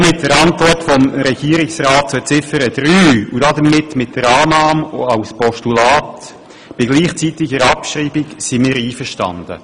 Auch mit der Antwort des Regierungsrats zu Ziffer 3 und damit mit der Annahme als Postulat bei gleichzeitiger Abschreibung sind wir einverstanden.